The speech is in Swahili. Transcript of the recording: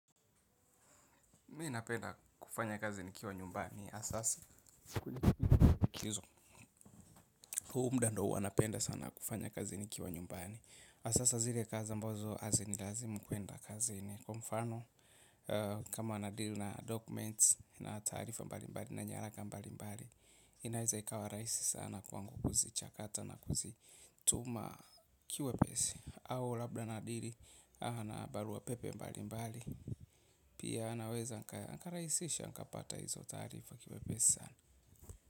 Mi ninapenda kufanya kazi nikiwa nyumbani asasa huu muda ndo huwanapenda sana kufanya kazi nikiwa nyumbani. Asasa zile kazi ambozo azinilazimu kuenda kazini. Kwa mfano kama nadiri na documents na taarifa mbali mbali na nyaraka mbali mbali. Inaeza ikawa raisi sana kwangu kuzichakata na kuzituma kiuepesi. Au labda nadiri ana barua pepe mbali mbali. Pia anaweza, nikaraisisha, nikapata hizo tarifa kimepe sana.